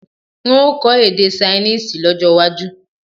N ó kọ èdè Ṣainíìsì lọ́jó̩ waju